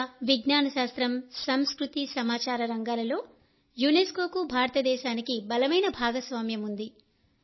విద్య విజ్ఞాన శాస్త్రం సంస్కృతి సమాచార రంగాల్లో యునెస్కోకు భారతదేశానికి బలమైన భాగస్వామ్యం ఉంది